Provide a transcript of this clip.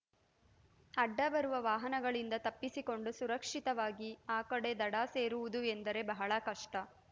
ಅಡ್ಡ ಬರುವ ವಾಹನಗಳಿಂದ ತಪ್ಪಿಸಿಕೊಂಡು ಸುರಕ್ಷಿತವಾಗಿ ಅ ಕಡೆ ದಡ ಸೇರುವುದು ಎಂದರೆ ಬಹಳ ಕಷ್ಟ